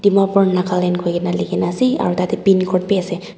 Dimapur Nagaland koina lekhi na asa ro datey pin code be asasa.